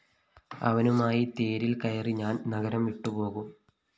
അവനുമായി തേരില്‍ക്കയറി ഞാന്‍ ഈ നഗരം വിട്ടുപോകും